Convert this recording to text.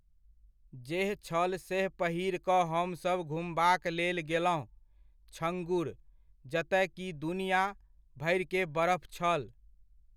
जेह छल सेह पहिर कऽ हमसब घुमबाक लेल गेलहुँ छङ्गूर, जतय कि दुनिआँ भरिके बरफ छल।